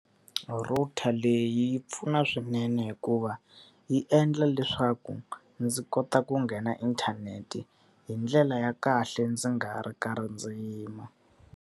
Router leyi yi pfuna swinene hikuva, yi endla leswaku ndzi kota ku nghena inthanete hi ndlela ya kahle ndzi nga ha ri karhi ndzi yima.